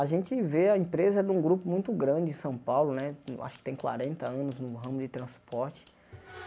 A gente vê a empresa de um grupo muito grande em São Paulo né, acho que tem quatenta anos no ramo de transporte.